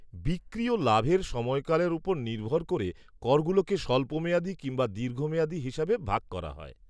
বিক্রি ও লাভের সময়কালের উপর নির্ভর করে করগুলোকে স্বল্পমেয়াদী কিম্বা দীর্ঘমেয়াদী হিসেবে ভাগ করা হয়।